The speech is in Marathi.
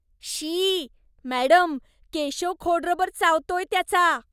शी! मॅडम, केशव खोडरबर चावतोय त्याचा.